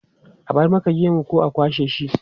A bar maka gemu ko a kwashe shi?